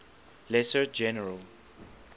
lesser general